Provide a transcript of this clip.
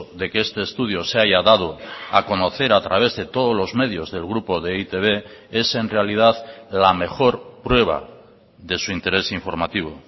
de que este estudio se haya dado a conocer a través de todos los medios del grupo de e i te be es en realidad la mejor prueba de su interés informativo